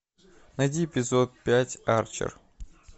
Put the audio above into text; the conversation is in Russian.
найди эпизод пять арчер